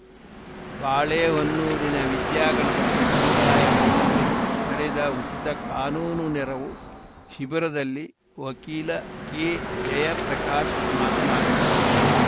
ಬಾಳೆಹೊನ್ನೂರಿನ ವಿದ್ಯಾ ಗಣಪತಿ ಸಮುದಾಯ ಭವನದಲ್ಲಿ ನಡೆದ ಉಚಿತ ಕಾನೂನು ನೆರವು ಶಿಬಿರದಲ್ಲಿ ವಕೀಲ ಕೆಜಯಪ್ರಕಾಶ್‌ ಮಾತನಾಡಿದರು